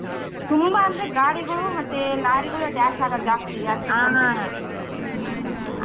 ತುಂಬಾ ಅಂದ್ರ್ ಗಾಡಿಗಳೂ ಮತ್ತೆ ಲಾರಿಗಳೂ dash ಆಗೋದು ಜಾಸ್ತಿ ಅಷ್ಟು ?